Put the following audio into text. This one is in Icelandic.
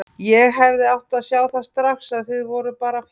Ég hefði átt að sjá það strax að þið voruð bara að fíflast.